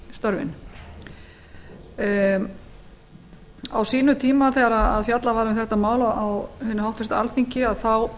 störfin á sínum tíma þegar fjallað var um þetta mál á háttvirtu alþingi þá